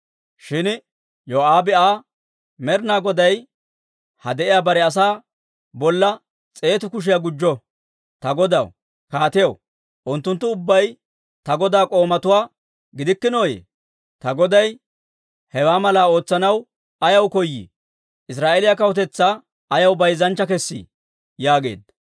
Shin Yoo'aabe Aa, «Med'inaa Goday ha de'iyaa bare asaa bolla s'eetu kushiyaa gujjo! Ta godaw, kaatiyaw, unttunttu ubbay ta godaa k'oomatuwaa gidikkinooyye? Ta goday hewaa malaa ootsanaw ayaw koyii? Israa'eeliyaa kawutetsaa ayaw bayzanchcha kessii?» yaageedda.